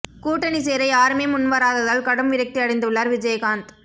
கூட்டணி சேர யாருமே முன் வராததால் கடும் விரக்தி அடைந்து உள்ளார் விஜயகாந்த்